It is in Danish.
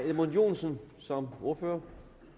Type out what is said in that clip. edmund joensen som ordfører